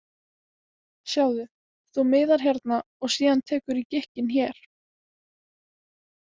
Sjáðu, þú miðar hérna og síðan tekurðu í gikkinn hér.